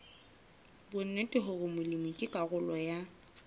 bonnete hore molemi ke karolo